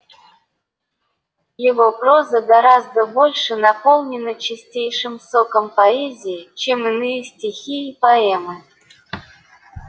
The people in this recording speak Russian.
его проза гораздо больше наполнена чистейшим соком поэзии чем иные стихи и поэмы